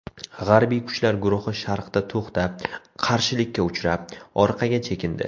G‘arbiy kuchlar guruhi sharqda to‘xtab, qarshilikka uchrab, orqaga chekindi.